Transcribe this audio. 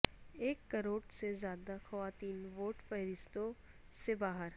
ایک کروڑ سے زائد خواتین ووٹر فہرستوں سے باہر